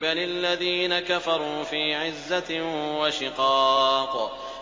بَلِ الَّذِينَ كَفَرُوا فِي عِزَّةٍ وَشِقَاقٍ